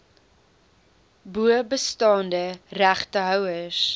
bo bestaande regtehouers